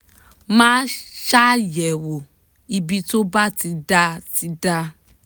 máa ṣàyẹ̀wò ibi tó bá ti dà ti dà